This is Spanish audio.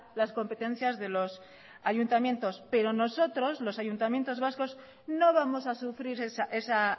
las competencias de los ayuntamientos pero nosotros los ayuntamientos vascos no vamos a sufrir esa